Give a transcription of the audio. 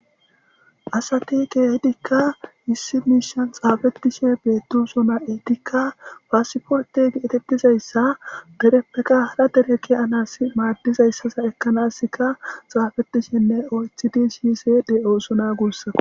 asati kehidikka issi miishan xaafetishe beettusona eetikka faasifote gi7etettizayssa dereppeka hara dereke anas maaddizayssaza ekkanaska xaafetishenne oythidi shiise de7oosona guussako